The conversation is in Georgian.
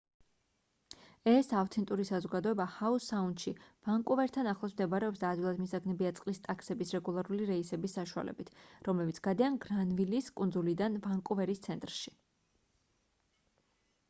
ეს ავთენტური საზოგადოება ჰაუ-საუნდში ვანკუვერთან ახლოს მდებარეობს და ადვილად მისაგნებია წყლის ტაქსების რეგულარული რეისების საშუალებით რომლებიც გადიან გრანვილის კუნძულიდან ვანკუვერის ცენტრში